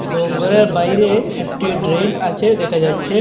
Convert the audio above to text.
এবং ঘরের বাইরে একটি ড্রেন আছে দেখা যাচ্ছে।